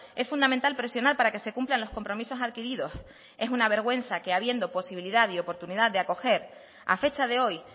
es fundamental presionar para que se cumplan los compromisos adquiridos es una vergüenza que habiendo posibilidad y oportunidad acoger a fecha de hoy